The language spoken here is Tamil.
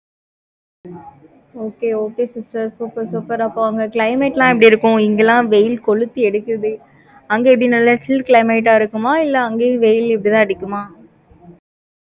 okay okay sister super super அப்ப, அங்க climate லாம் எப்படி இருக்கும்? இங்க எல்லாம், வெயில் கொளுத்தி எடுக்குது. அங்க, இப்படி நல்லா, chill climate ஆ இருக்குமா? இல்லை, அங்கேயும் வெயில், இப்படித்தான் அடிக்குமா?